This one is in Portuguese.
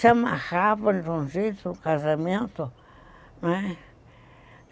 se amarravam de um jeito no casamento, né?